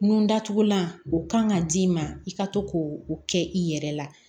Nun datugulan o kan ka d'i ma i ka to k'o kɛ i yɛrɛ la